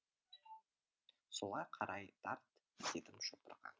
солай қарай тарт дедім шопырға